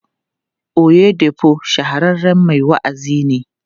Oyedepo shahararren mai wa'azi ne.